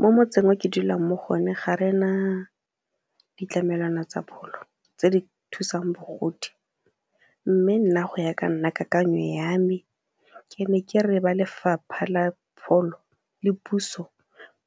Mo motseng o ke dulang mo go one ga re na ditlamelwana tsa pholo tse di thusang bagodi, mme nna go ya ka nna kakanyo ya me ke ne ke re ba lefapha la pholo le puso